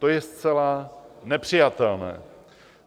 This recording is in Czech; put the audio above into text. To je zcela nepřijatelné.